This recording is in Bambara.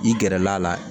I gɛrɛl'a la